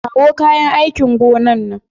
Kawo kayan aikin gona nan.